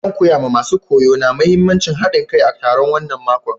Zan koya ma masun koyo na muhimmancin haɗin kai a taro wanan mako.